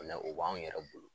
O la o b'anw yɛrɛ bolo